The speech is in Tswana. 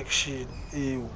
action eo